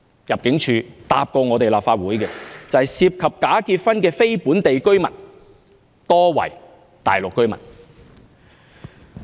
入境處曾答覆立法會，有關涉及假結婚的非本地居民，多為大陸居民。